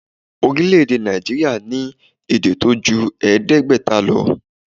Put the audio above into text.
Orílèdè Nàìjíríà ní èdè tó ju èédégbéta lo